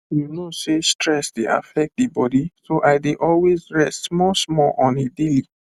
you know sey stress dey affect the body so i dey always rest smallsmall on a daily